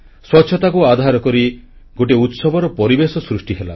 ସ୍ୱଚ୍ଛତାକୁ ଆଧାର କରି ଗୋଟିଏ ଉତ୍ସବର ପରିବେଶ ସୃଷ୍ଟି ହେଲା